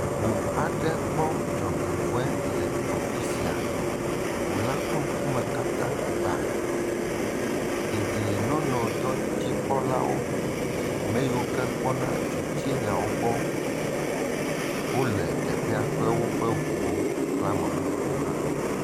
Ŋu aɖe kpɔ dzɔgbevɔe le afi sia. Ŋu la ƒe ŋkume katã gbã. Dedienɔnɔdɔdzikpɔlawo. Ame yiwo ke kpɔna dzotsinyawo gbɔ wole teƒea kple woƒe ŋuwo kple ame bubuwo hã.